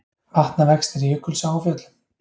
Vatnavextir í Jökulsá á Fjöllum